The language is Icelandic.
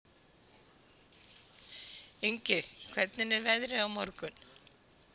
Ingi, hvernig er veðrið á morgun?